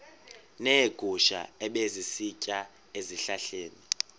neegusha ebezisitya ezihlahleni